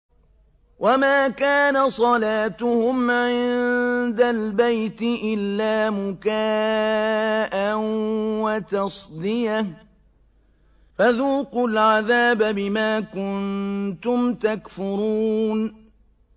وَمَا كَانَ صَلَاتُهُمْ عِندَ الْبَيْتِ إِلَّا مُكَاءً وَتَصْدِيَةً ۚ فَذُوقُوا الْعَذَابَ بِمَا كُنتُمْ تَكْفُرُونَ